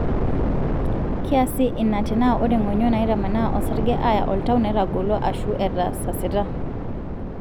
kiasa ina tena ore ngonyo naitamanaa osarge aya oltau netagolo ashu etasasita.